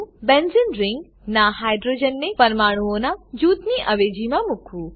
બેન્ઝેને ring benzene ring નાં હાઇડ્રોજનને પરમાણુઓનાં જૂથની અવેજીમાં મૂકવું